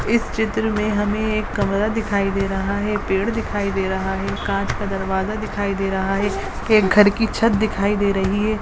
इस चित्र में हमें एक कमरा दिखाई दे रहा है पेड़ दिखाई दे रहा है काँच का दरवाजा दिखाई दे रहा है एक घर की छत दिखाई दे रही है।